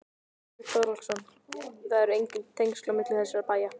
Björn Þorláksson: Það eru engin tengsl á milli þessara bæja?